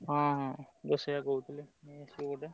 ହଁ ହଁ ମୁଁ ସେଇଆ କହୁଥିଲି ନେଇଆସିବ ଗୋଟେ।